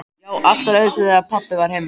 Já, allt var öðruvísi þegar pabbi var heima.